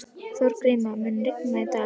Þorgríma, mun rigna í dag?